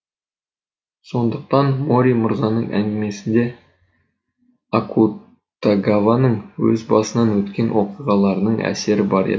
сондықтан мори мырзаның әңгімесінде акутагаваның өз басынан өткен оқиғаларының әсері бар еді